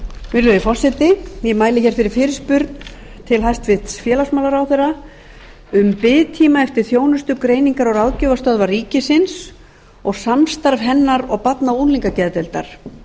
virðulegi forseti ég mæli hér fyrir fyrirspurn til hæstvirts félagsmálaráðherra um biðtíma eftir þjónustu greiningar og ráðgjafarstöðvar ríkisins og samstarf hennar og barna og unglingageðdeildar